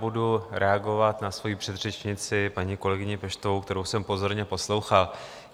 Budu reagovat na svoji předřečnici, paní kolegyni Peštovou, kterou jsem pozorně poslouchal.